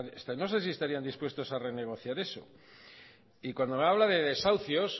no sé si estarían dispuestos a renegociar eso cuando me habla de desahucios